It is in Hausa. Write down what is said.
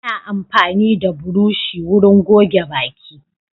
Ana amfani da burushi wurin goge baki.